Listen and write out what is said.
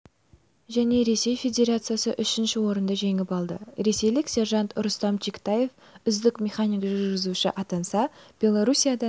және ресей федерациясы үшінші орынды жеңіп алды ресейлік сержант рустам чиктаев үздік механик-жүргізуші атанса белоруссиядан